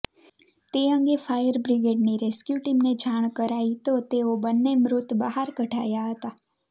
તે અંગે ફાયરબ્રીગેડની રેસ્ક્યૂ ટીમને જાણ કરાઈ તો તેઓ બંને મૃત બહાર કઢાયા હતા